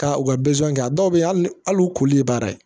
Ka u ka kɛ a dɔw bɛ yen hali u koli ye baara ye